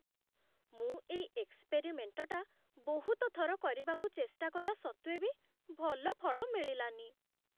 ମୁଁ ଏଇ ଏକ୍ସପେରିମେଣ୍ଟ୍ଟା ବହୁତ ଥର କରିବାକୁ ଚେଷ୍ଟା କଲା ସତ୍ତ୍ୱେ ବି ଭଲ ଫଳ ମିଳିଲାନି ।